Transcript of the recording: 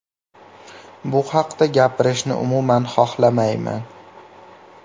Bu haqda gapirishni umuman xohlamayman.